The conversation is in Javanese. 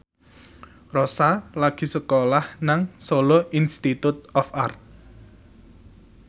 Rossa lagi sekolah nang Solo Institute of Art